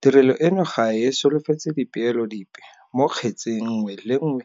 Tirelo eno ga e solofetse dipeelo dipe mo kgetseng nngwe le nngwe